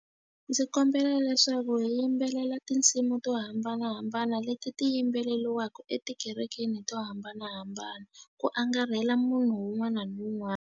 Ndzi kombela leswaku hi yimbelela tinsimu to hambanahambana leti ti yimbeleriwaka etikerekeni to hambanahambana, ku angarhela munhu un'wana na un'wana.